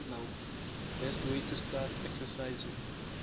best way to start exercising